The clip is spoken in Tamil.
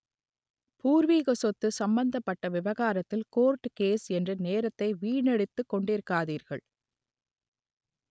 பூர்வீக சொத்து சம்பந்தப்பட்ட விவகாரத்தில் கோர்டு கேஸ் என்று நேரத்தை வீணடித்துக் கொண்டிருக்காதீர்கள்